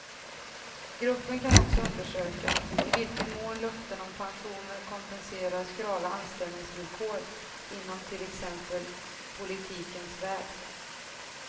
Gruppen kan också undersöka i vilken mån löften om pensioner kompenserar skrala anställningsvillkor inom till exempel politikens värld.